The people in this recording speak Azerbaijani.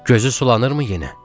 Gözü sulanırmı yenə?